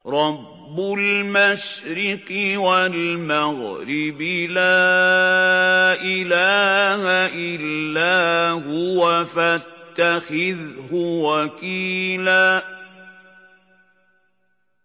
رَّبُّ الْمَشْرِقِ وَالْمَغْرِبِ لَا إِلَٰهَ إِلَّا هُوَ فَاتَّخِذْهُ وَكِيلًا